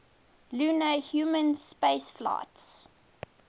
lunar human spaceflights